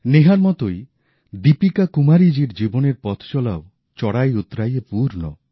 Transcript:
নেহার মতই দীপিকা কুমারীজীর জীবনের পথচলাও চড়াইউৎরাইয়ে পূর্ণ